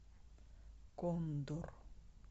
кондор